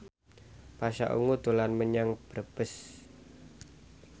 Pasha Ungu dolan menyang Brebes